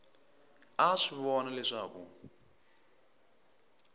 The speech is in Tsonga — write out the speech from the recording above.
a a swi vona leswaku